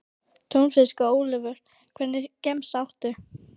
Túnfisk og ólívur Hvernig gemsa áttu?